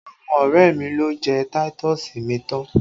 Àwọn ọrẹ mi lo jẹ táítọ̀sì mi tán!